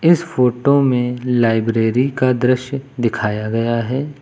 इस फोटो में लाइब्रेरी का दृश्य दिखाया गया है।